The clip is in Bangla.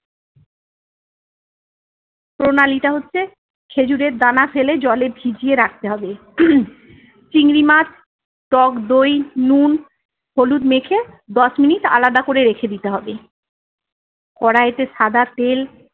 প্রণালী টা হচ্ছে, খেজুরের দানা ফেলে জলে ভিজিয়ে রাখতে হবে। চিংড়ি মাছ, টকদই নুন, হলুদ মেখে দশ মিনিট আলাদা করে রেখে দিতে হবে। কড়াইতে সাদা তেল